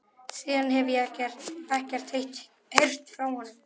Síðan hefi ég ekkert heyrt frá honum.